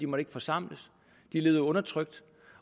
måtte forsamles de levede undertrykt